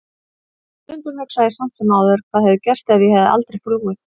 En stundum hugsa ég samt sem áður hvað hefði gerst ef ég hefði aldrei flúið.